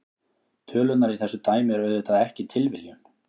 Tölurnar í þessu dæmi eru auðvitað ekki tilviljun.